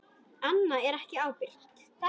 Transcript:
Annað er ekki ábyrgt.